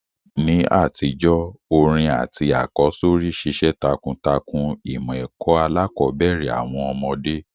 NÍ àtijó, orin àtí àkọ́sórí ṣiṣẹ́ takuntakun ìmọ̀ ẹ́ko alákòbẹ̀rẹ̀ àwon ọ́mọ́dé